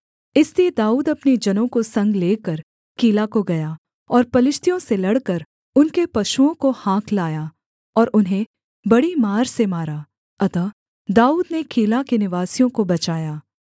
इसलिए दाऊद अपने जनों को संग लेकर कीला को गया और पलिश्तियों से लड़कर उनके पशुओं को हाँक लाया और उन्हें बड़ी मार से मारा अतः दाऊद ने कीला के निवासियों को बचाया